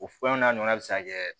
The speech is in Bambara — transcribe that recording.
O fɛnw n'a ɲɔgɔnna bɛ se ka kɛ